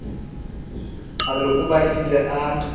a re o batlile a